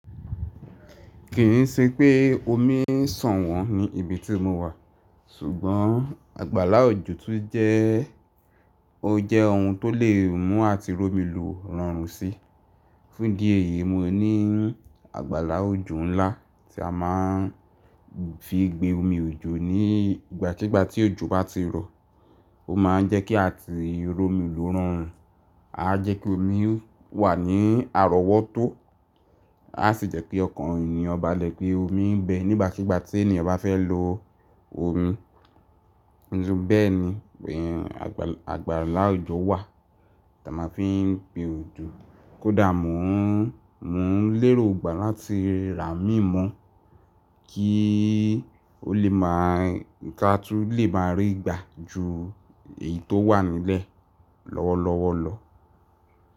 Kì ń ṣe pé omi ń sàn wọ́n ní ibi tí mo wà, ṣùgbọ́n àgbàlá òjò tún jẹ́, ó jẹ́ ohun tó lè mú àti ró mi lò rọrùn si. Fún ìdí èyí yìí mo ní àgbàlá òjò ńlá tí a máa ń fií gbe omi òjò ní ìgbàkígbà tí òjò bá ti rọ̀. Ó máa ń jẹ́ kí àti rómi lò rọrùn. Áá jẹ́ kí omi wà ní àrọ́wọ́tó. A sì jẹ́ kí ọkàn ènìyàn ba lẹ̀ pé omi ń bẹ nígbàkígbà tí ènìyàn bá fẹ́ lo omi. Ni bí bẹ́ẹ̀ ni pé àgbàlá òjò wà tí a máa ń fi gbé òjò. Kódà mò ń, mò ń lérògbà láti rà á mì mọ́ kí ó lè máa, kí a tún lè máa rí i gbà ju èyí tó wà nílẹ̀ lọ́wọ́lọ́wọ́ lọ.